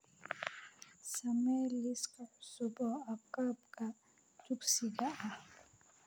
samee liis cusub oo agabka dugsiga ah